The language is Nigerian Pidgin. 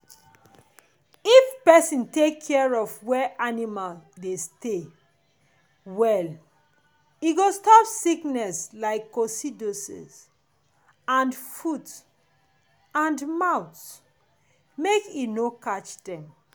if person take care of where animal dey stay well e go stop sickness like coccidiosis and foot-and-mouth make e no catch dem.